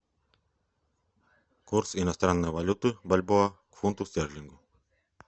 курс иностранной валюты бальбоа к фунту стерлингу